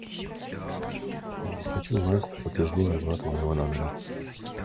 хочу узнать подтверждение оплаты моего номера